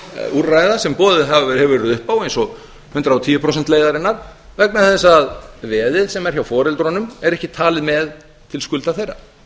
úrræða sem boðið hefur verið upp á eins og hundrað og tíu prósenta leiðarinnar vegna þess að veðið sem er hjá foreldrunum er ekki talið með til skulda þeirra